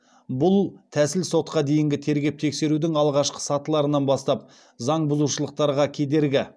бұл тәсіл сотқа дейінгі тергеп тексерудің алғашқы сатыларынан бастап заңбұзушылықтарға кедергі